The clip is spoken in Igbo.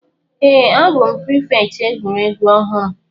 Èè, a bụ prịfèkt egwuregwu ọhụrụ.